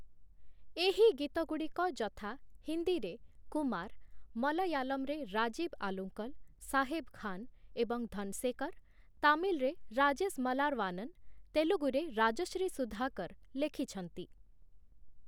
ଏହି ଗୀତଗୁଡ଼ିକ ଯଥା ହିନ୍ଦୀରେ କୁମାର, ମଲୟାଲମରେ ରାଜୀବ ଆଲୁଙ୍କଲ, ସାହେବ ଖାନ ଏବଂ ଧନସେକର, ତାମିଲରେ ରାଜେଶ ମଲାରବାନନ, ତେଲୁଗୁରେ ରାଜଶ୍ରୀ ସୁଧାକର ଲେଖିଛନ୍ତି ।